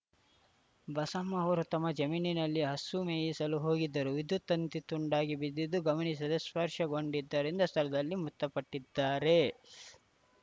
ಬಸಮ್ಮ ಅವರು ತಮ್ಮ ಜಮೀನಿನಲ್ಲಿ ಹಸು ಮೇಯಿಸಲು ಹೋಗಿದ್ದರು ವಿದ್ಯುತ್‌ ತಂತಿ ತುಂಡಾಗಿ ಬಿದ್ದಿದ್ದು ಗಮನಿಸದೆ ಸ್ಪರ್ಶಗೊಂಡಿದ್ದರಿಂದ ಸ್ಥಳದಲ್ಲೇ ಮೃತಪಟ್ಟಿದ್ದಾರೆ